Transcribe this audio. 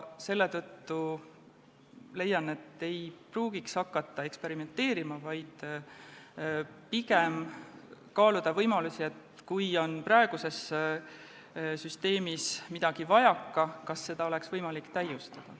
Selle tõttu leian, et ei pruugiks hakata eksperimenteerima, vaid kui praeguses süsteemis on midagi vajaka, tuleks pigem kaaluda võimalusi, kas seda oleks võimalik täiustada.